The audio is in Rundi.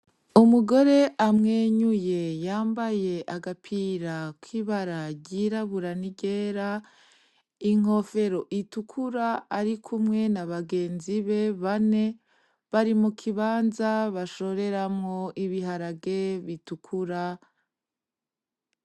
Umugore amwenyuye yambaye agapira k'ibara ry'irabura, n'iryera; inkofero itukura arikumwe n'abagenzi be bane bari mu kibanza bashoreramwo ibiharage bitukura.